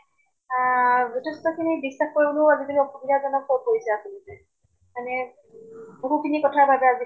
আহ যিথেষ্ট খিনি বিশ্বাস কৰিবলৈও আজি কালি অসুবিধা জনক হৈ পৰিছে আচলতে। মানে বহুত খিনি কথা তাত